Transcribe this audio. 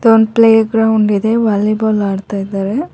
ಇದೊಂದ್ playground ಇದೆ ವಾಲಿಬಾಲ್ ಆಡ್ತಾಯಿದ್ದಾರೆ.